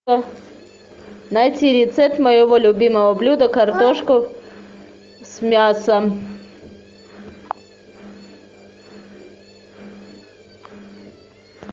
найти рецепт моего любимого блюда картошка с мясом